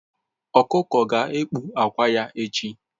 Ọkụkọ ga-ekpu akwa echi